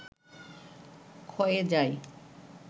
ক্ষয়ে যায়